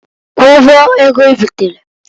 Kwụọ ụgwọ ego ibitereǃ